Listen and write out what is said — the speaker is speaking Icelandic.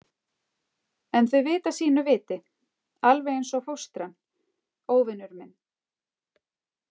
En þau vita sínu viti, alveg eins og fóstran, óvinur minn.